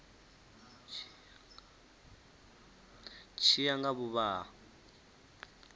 tshi ya nga vhuvha ha